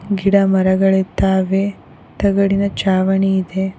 ಗಿಡ ಮರಗಳಿದ್ದಾವೆ ತಗಡಿನ ಚಾವಣಿ ಇದೆ.